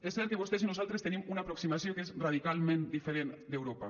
és cert que vostès i nosaltres tenim una aproximació que és radicalment diferent d’europa